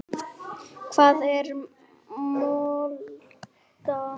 Hvað er molta?